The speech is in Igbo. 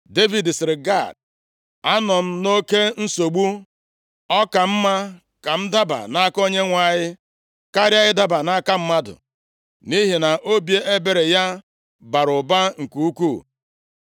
Devid sịrị Gad, “Anọ m nʼoke nsogbu. Ọ ka mma ka m daba nʼaka Onyenwe anyị karịa ịdaba nʼaka mmadụ. Nʼihi na obi ebere ya bara ụba nke ukwuu.”